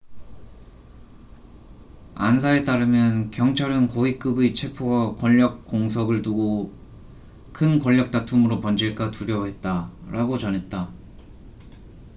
"안사에 따르면 "경찰은 고위급의 체포가 권력 공석을 두고 큰 권력 다툼으로 번질까 두려워했다""라고 전했다.